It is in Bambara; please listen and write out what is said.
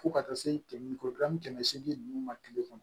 Fo ka taa se kɛmɛ ni kɔbila ni kɛmɛ seegin ninnu ma tile kɔnɔ